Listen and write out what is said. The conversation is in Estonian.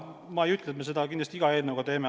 Ma ei ütle, et me seda kindlasti iga eelnõuga teeme.